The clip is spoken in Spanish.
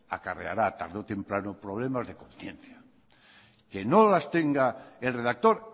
acarreará tarde o temprano problemas de conciencia que no las tenga el redactor